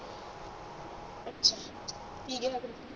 ਅੱਛਾ ਕਿ ਕੇਹਾ ਫੇਰ ਤੂੰ